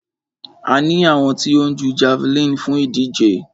A ní àwọn tí ó ń jú javeline fún ìdíje.